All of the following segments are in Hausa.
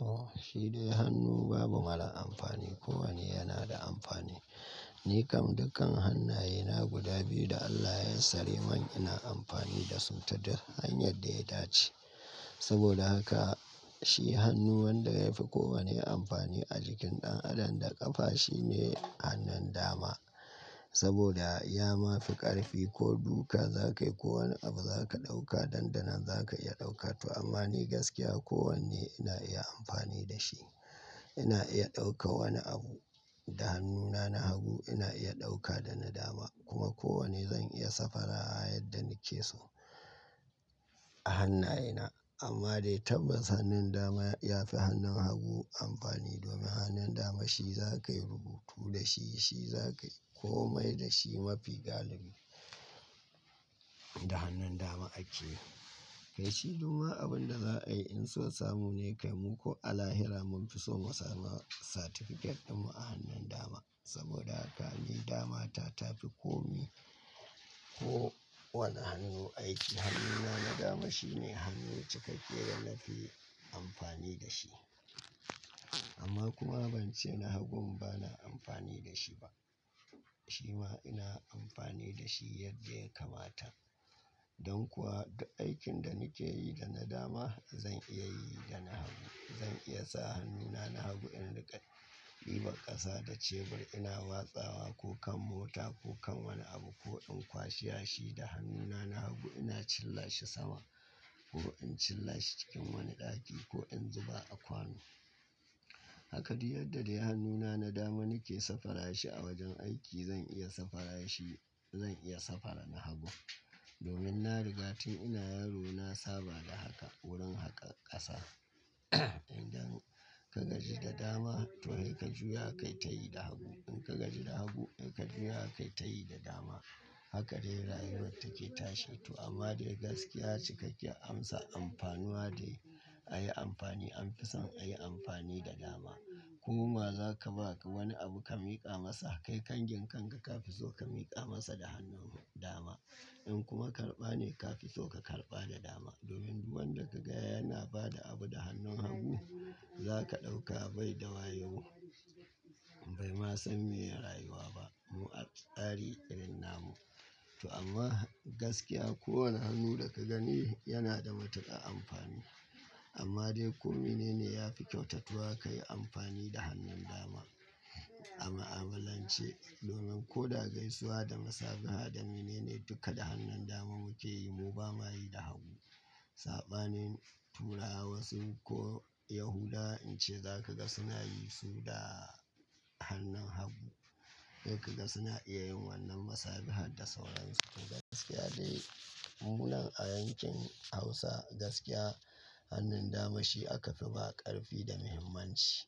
Oh, shi dai hannu babu mara amfani. Kowane yana da amfani. Ni kam dukkan hannayena guda biyu da Allah ya yassare min ina amfani da su ta duk hanyar da ya dace. Saboda haka shi hannu wanda yafi kowane amfani a jikin ɗan adam da ƙafa shine hannun dama. Saboda ya mafi ƙarfi ko duka za ka yi, ko wane abu za ka ɗauka, dandanan za ka iya ɗauka to. Amma ni gaskiya kowanne ina iya amfani da shi. Ina iya ɗauka wani abu da hannuna na hagu, ina iya ɗauka da na dama kuma kowane zan iya safara yadda nake so a hannayena. Amma dai tabbas hannun dama ya fi hannun hagu amfani domin hannun dama shi za ka yi rubutu da shi, shi za ka yi kome da shi mafi galibi. Da hannun dama ake yi. Kai shi duma abin da za a yi in so samu ne kai mu ko a lahira mun fi so mu samu certificate ɗinmu a hannun dama. Saboda haka ni dama ta tafi kome ko wane hannu aiki. Hannuna na dama shine hannu cikakke da na fi amfani da shi. Amma kuma ban ce na hagun bana amfani da shi ba. Shi ma ina amfani da shi yadda ya kamata. Don kuwa duk aikin da nake yi da na dama zan iya yi da na hagu. Zan iya sa hannuna na hagu in riƙa ɗiban ƙasa da cebur ina watsawa ko kan mota ko kan wani abu ko in kwashe yashi da hannuna na hagu ina cillashi sama ko in cillashi cikin wani ɗaki ko in zuba a kwano. Haka duk yadda dai hannuna na dama nake safara shi a wajen aiki zan iya safara shi, zan iya safara na hagun. Domin na riga tun ina yaro na saba da haka wurin haka ƙasa. Idan ka gaji da dama toh he ka juya kai tayi da hagu. In ka gaji da hagu, he ka juya kai tayi da dama. Haka dai rayuwar take tashi. To amma dai gaskiya cikakkiyar amsa amfanuwa dai a yi amfani an fi son a yi amfani da dama. Koma za ka ba wani abu ka miƙa masa, kai kangin kanka ka fi so ka miƙa masa da hannun dama. In kuma karɓa ne ka fi so ka karɓa da dama. Domin duk wanda ka ga yana ba da abu da hannun hagu, za ka ɗauka bai da wayo. Bai ma san meye rayuwa ba. Mu a tsari irin namu. To amma gaskiya kowane hannu da ka gani yana da matuƙar amfani. Amma dai komi ne ne yafi kyautatuwa ka yi amfani da hannun dama. A mu'amalance domin ko da gaisuwa da masabaha da menene duka da hannun dama muke yi mu ba ma yi da hagu. Saɓanin Turawa wasu ko Yahudawa in ce za ka ga suna yi su da hannun hagu. Yau ka ga suna iya yin wannan masabiha da sauransu. Gaskiya dai mu nan a yankin Hausa gaskiya hannun dama shi aka fi ba ƙarfi da muhimmanci.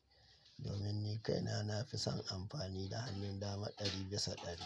Domin ni kaina na fi son amfani da hannun dama ɗari bisa ɗari.